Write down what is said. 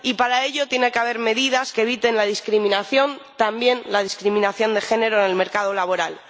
y, para ello, tiene que haber medidas que eviten la discriminación —también la discriminación de género en el mercado laboral—.